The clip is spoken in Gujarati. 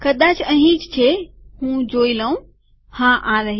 કદાચ અહીં જ છે હું જોઈ લઉંહા આ રહી